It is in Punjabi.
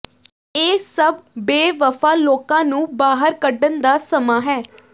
ਇਹ ਸਭ ਬੇਵਫ਼ਾ ਲੋਕਾਂ ਨੂੰ ਬਾਹਰ ਕੱਢਣ ਦਾ ਸਮਾਂ ਹੈ